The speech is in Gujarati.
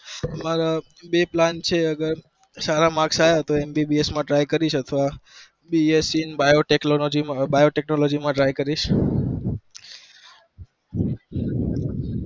આમારા બે plan છે અગર સારા marks આવ્યા તો MBBS માં try કરીશ અથવા bsc ને bio technology માં હવે bio technology માં tray કરીશ